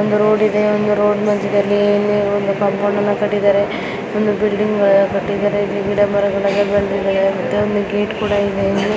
ಒಂದು ರೋಡು ಇದೆ. ಒಂದು ರೋಡ ಮಧ್ಯದಲ್ಲಿ ಒಂದು ಕಾಂಪೌಂಡ್ ಅನ್ನ ಕಟ್ಟಿದ್ದಾರೆ ಒಂದು ಬಿಲ್ಡಿಂಗ್ ಅನ್ನ ಕಟ್ಟಿದ್ದಾರೆ. ಗಿಡ ಮರಗಳ ಎಲ್ಲ ಬೆಳೆದಿದಾವೆ. ಮತ್ತೆ ಒಂದ್ ಗೇಟ್ ಕೂಡ ಇದೆ ಇಲ್ಲಿ.